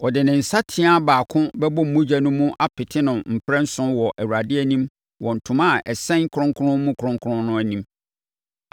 Ɔde ne nsateaa baako bɛbɔ mogya no mu apete no mprɛnson wɔ Awurade anim wɔ ntoma a ɛsɛn kronkron mu kronkron no anim.